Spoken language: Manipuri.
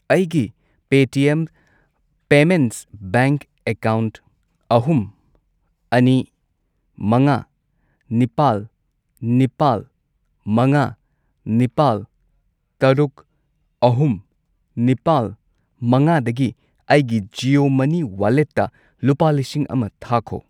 ꯑꯩꯒꯤ ꯄꯦꯇꯤꯑꯦꯝ ꯄꯦꯃꯦꯟꯠꯁ ꯕꯦꯡꯛ ꯑꯦꯀꯥꯎꯟꯠ ꯑꯍꯨꯝ, ꯑꯅꯤ, ꯃꯉꯥ, ꯅꯤꯄꯥꯜ, ꯅꯤꯄꯥꯜ, ꯃꯉꯥ, ꯅꯤꯄꯥꯜ, ꯇꯔꯨꯛ, ꯑꯍꯨꯝ, ꯅꯤꯄꯥꯜ, ꯃꯉꯥꯗꯒꯤ ꯑꯩꯒꯤ ꯖꯤꯑꯣ ꯃꯅꯤ ꯋꯥꯂꯦꯠꯇ ꯂꯨꯄꯥ ꯂꯤꯁꯤꯡ ꯑꯃ ꯊꯥꯈꯣ꯫